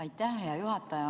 Aitäh, hea juhataja!